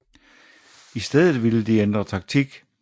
I stedet ville de ændre taktik